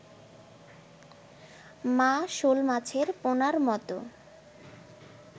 মা-শোল মাছের পোনার মতো